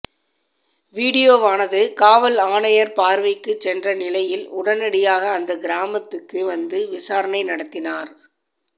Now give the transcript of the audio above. வீடியோவானது காவல் ஆணையர் பார்வைக்கு சென்ற நிலையில் உடனடியாக அந்த கிராமத்துக்கு வந்து விசாரணை நடத்தினார்